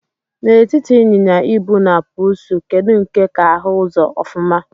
Na etiti inyịnya-ibu na pusi, kedu nke ka ahu uzọ ofuma?